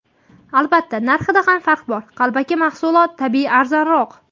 Albatta, narxida ham farq bor, qalbaki mahsulot tabiiyki arzonroq”.